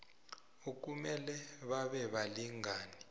okumele babe balingani